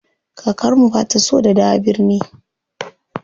Kakar mu bata so da dawo birni.